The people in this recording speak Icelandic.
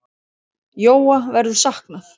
Jóa verður saknað.